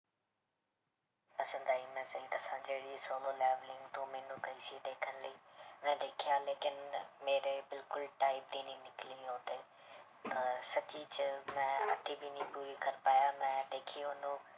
ਪਸੰਦ ਆਈ ਮੈਂ ਸਹੀ ਦੱਸਾਂ ਜਿਹੜੀ ਸੋਲੋ ਲੈਵਲਿੰਗ ਤੂੰ ਮੈਨੂੰ ਕਹੀ ਸੀ ਦੇਖਣ ਲਈ, ਮੈਂ ਦੇਖਿਆ ਲੇਕਿੰਨ ਮੇਰੇ ਬਿਲਕੁਲ type ਦੀ ਨੀ ਨਿਕਲੀ ਉਹ ਤੇ ਅਹ ਸੱਚੀ 'ਚ ਮੈਂ ਅੱਧੀ ਵੀ ਨੀ ਪੂਰੀ ਕਰ ਪਾਇਆ ਮੈਂ ਦੇਖੀ ਉਹਨੂੰ